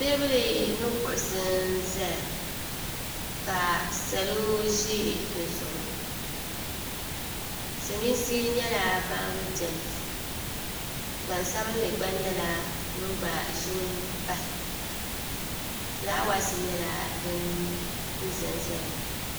Teebuli ni kuɣusi n-zaya ka salo ʒi di zuɣu Silimiinsi nyɛla ban beni gbansabinli gba nyɛla ŋun gba ʒini pahi fulaawaasi nyɛla din zanzaya.